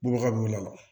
Bɔgɔ ka b'u la